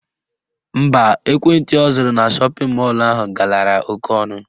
Mba, ekwentị ọ zụrụ na shọpịn mọlụ ahụ galara oke ọnụ